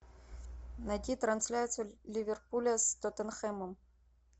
найти трансляцию ливерпуля с тоттенхэмом